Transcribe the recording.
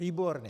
Výborně.